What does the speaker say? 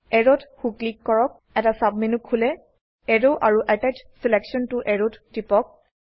অ্যাৰোত সো ক্লিক কৰক এটা সাব মেনু খোলে এৰৱ আৰু আটাচ ছিলেকশ্যন ত এৰৱ ত টিপক